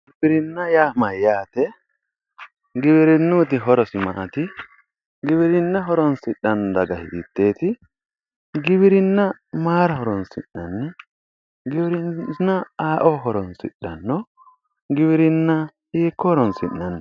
giwirinnaho yaa mayyate? giwirinnuyiti horosi maati maati? giwirinna horonsidhanno daga hitteeti? giwirinna mayra horonsi'nanni giwirinna ayeeo horonsidhanno? giwirinna hiikko horonsi'nanni?